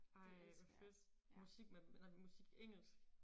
Ej hvor fedt musik med nej musik engelsk